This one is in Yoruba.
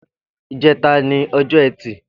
Ijẹ̀tá ni ọjọ ẹti